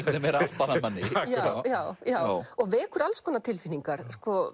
meira aftan að manni já já já og vekur alls konar tilfinningar